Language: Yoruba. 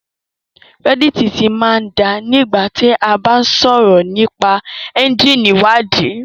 Reddit ti máa ń da nígbà tí a bá ń sọ̀rọ̀ nípa ẹ́ńjíìnì ìwádìí